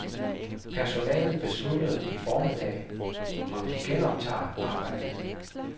Personalet beslutter i formiddag, om de genoptager arbejdet.